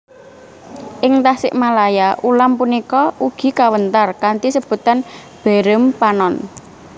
Ing Tasikmalaya ulam punika ugi kawéntar kanthi sebutan beureum panon